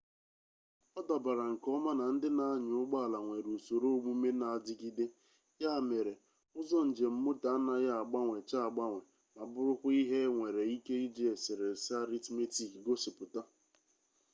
ọ dabara nke ọma na ndị na-anya ụgbọ ala nwere usoro omume na-adịgide ya mere ụzọ njem moto anaghị agbanwecha agbanwe ma bụrụkwa ihe enwere ike iji eserese aritmetik gosipụta